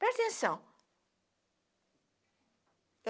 Presta atenção.